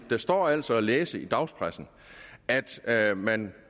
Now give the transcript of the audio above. der står altså at læse i dagspressen at at man